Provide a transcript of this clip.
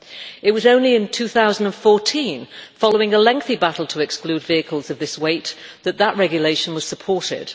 It was only in 2014, following a lengthy battle to exclude vehicles of this weight, that that regulation was supported.